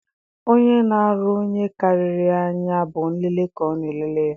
Onye na-arọ onye karịrị ya anya, bụ nlele ka ọ na-elele ya